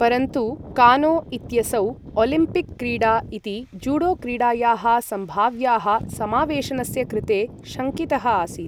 परन्तु कानो इत्यसौ, ओलम्पिक क्रीडा इति जूडो क्रीडायाः सम्भाव्याः समावेशनस्य कृते शङ्कितः आसीत्।